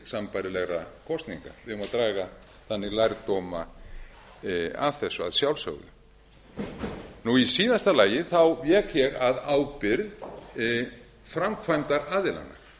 sambærilegra kosninga við eigum að draga þannig lærdóma af þessu að sjálfsögðu í síðasta lagi vék ég að ábyrgð framkvæmdaraðilanna